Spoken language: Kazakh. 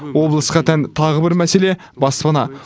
облысқа тән тағы бір мәселе баспана